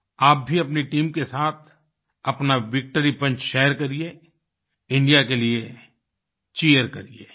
आप भी अपनी टीम के साथ अपना विक्ट्री पंच शेयर करिए इंडिया के लिए चीर करिए